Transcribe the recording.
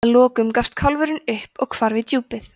að lokum gafst kálfurinn upp og hvarf í djúpið